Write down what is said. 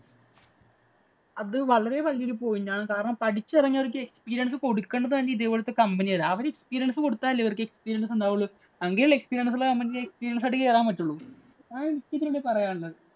അത് വളരെ വലിയ ഒരു point ആണ്. കാരണം പഠിച്ചിറങ്ങിയവർക്ക് experience കൊടുക്കേണ്ടത് തന്നെ ഇതുപോലത്തെ company ആണ്. അവര് experience കൊടുത്താലല്ലേ experience ഉണ്ടാവുള്ളൂ. എങ്കിലല്ലേ experience ഉള്ള company ഇലേക്ക് experience ഉമായി കയറാന്‍ പറ്റുള്ളൂ.